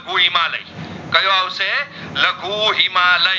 કૂ હિમાલય કયો અવસે લઘુ હિમાલય